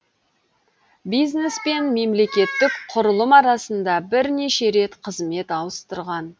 бизнес пен мемлекеттік құрылым арасында бірнеше рет қызмет ауыстырған